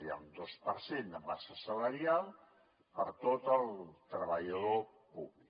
hi ha un dos per cent de massa salarial per a tot el treballador públic